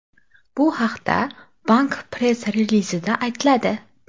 Bu haqda bank press-relizida aytiladi .